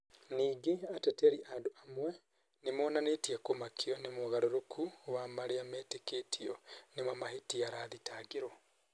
Ningĩ ateteri andũ amwe nĩ monanĩtie kumakio. Nĩ mugaruruko wa marĩa mĩĩtĩketio nĩmo mahetia arathitangĩirwo.